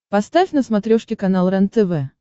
поставь на смотрешке канал рентв